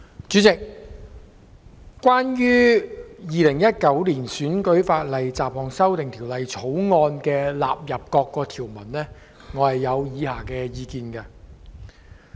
主席，關於《2019年選舉法例條例草案》納入各項的條文，我有以下意見。